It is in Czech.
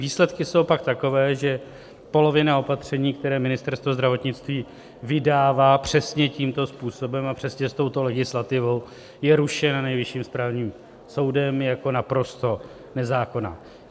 Výsledky jsou pak takové, že polovina opatření, která Ministerstvo zdravotnictví vydává přesně tímto způsobem a přesně s touto legislativou, je rušena Nejvyšším správním soudem jako naprosto nezákonná.